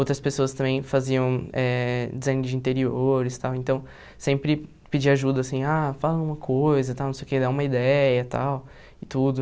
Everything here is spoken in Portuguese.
Outras pessoas também faziam design de interiores, tal, então sempre pedia ajuda, assim, ah, fala uma coisa, tal, não sei o quê, dá uma ideia, tal, e tudo.